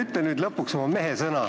Ütle nüüd lõpuks oma mehesõna,